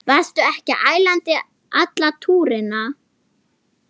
Varstu ekki ælandi allan túrinn?